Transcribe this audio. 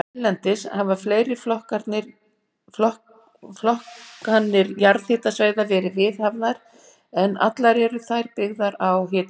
Erlendis hafa fleiri flokkanir jarðhitasvæða verið viðhafðar, en allar eru þær byggðar á hitastigi.